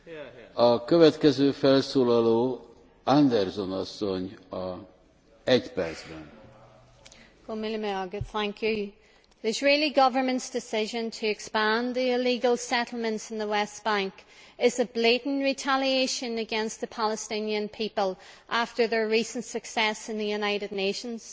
Mr President, the Israeli Government's decision to expand the illegal settlements in the West Bank is a blatant retaliation against the Palestinian people after their recent success in the United Nations.